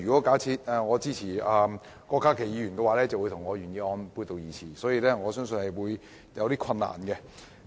假如我支持郭家麒議員的修正案，便會與我的原議案背道而馳，所以我相信這方面會有些困難。